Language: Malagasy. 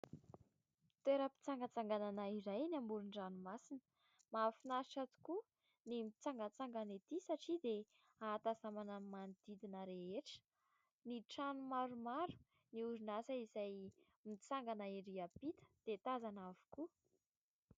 Toera-mpitsangatsanganana iray eny amoron-dranomasina mahafinaritra tokoa ny mitsangantsangana ety satria dia ahatazanana ny manodidina rehetra ny trano maromaro, ny orinasa izay mitsangana ery ampita dia tazana avokoa.